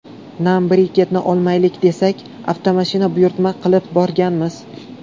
Nam briketni olmaylik desak, avtomashina buyurtma qilib borganmiz.